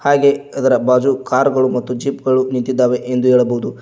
ಹಾಗೆ ಅದರ ಬಾಜು ಕಾರು ಗಳು ಮತ್ತು ಜೀಪ್ ಗಳು ನಿಂತಿದ್ದಾವೆ ಎಂದು ಹೇಳಬಹುದು.